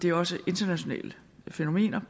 er også internationale fænomener